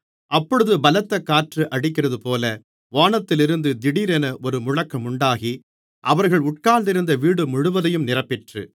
அப்பொழுது பலத்தக் காற்று அடிக்கிறதுபோல வானத்திலிருந்து திடீரென ஒரு முழக்கமுண்டாகி அவர்கள் உட்கார்ந்திருந்த வீடு முழுவதையும் நிரப்பிற்று